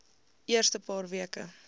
eerste paar weke